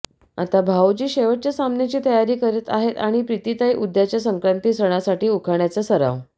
आता भावोजी शेवटच्या सामन्याची तयारी करीत आहेत आणि प्रीतीताई उद्याच्या संक्रांतसणासाठी उखाण्याचा सराव